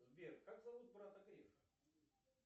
сбер как зовут брата грефа